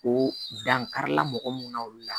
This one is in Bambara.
O dankari la mɔgɔ mun na olu la